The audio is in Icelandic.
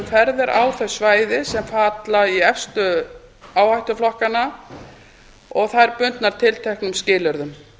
ferðir á þau svæði sem falla í efstu áhættuflokkinn og þær bundnar tilteknum skilyrðum